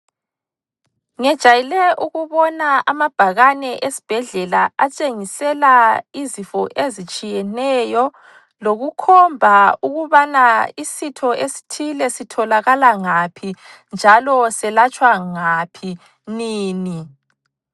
Ngejayele ukubona amabhakane esibhedlela atshengisela izifo ezitshiyeneyo lokukhomba ukubana isitho esithile sitholakala ngaphi njalo selatshwa ngaphi nini.